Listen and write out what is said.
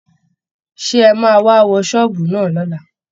Ṣé ẹ máa wá wo ṣọ́ọ̀bù náà lọ́la?